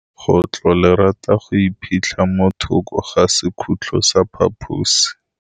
Legôtlô le rata go iphitlha mo thokô ga sekhutlo sa phaposi.